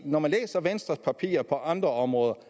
når man læser venstres papirer på andre områder